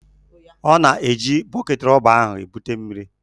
Ọ na-eji bọket rọba ahụ ebuta mmiri.